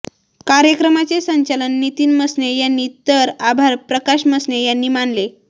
कार्यक्रमाचे संचालन नितीन मसने यांनी तर आभार प्रकाश मसने यांनी मानले